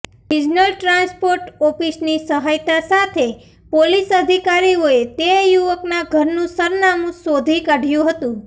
regional transport ઓફિસની સહાયતા સાથે પોલીસ અધિકારીઓએ તે યુવકનાં ઘરનું સરનામું શોધી કાઢ્યું હતું